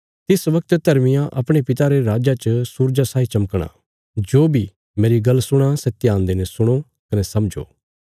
तिस वगत धर्मियां अपणे पिता रे राज्जा च सूरजा साई चमकणा जो बी मेरी गल्ल सुणां सै ध्यान देईने सुणो कने समझो